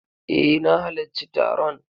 Eh, na halacci taron.